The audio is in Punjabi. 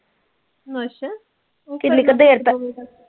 ਅੱਛਾ